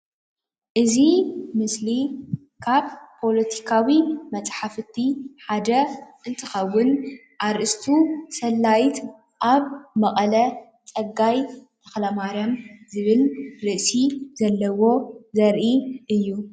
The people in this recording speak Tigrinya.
እዚ ምስሊ ካብ ፖለቲካዊ መፅሓፍቲ ሓደ እንትከውን ኣርእስቱ ሰላይት ኣብ መቐለ ፀጋይ ተክለማርያም ዝብል ርእሲ ዘለዎ ዘርኢ እዩ፡፡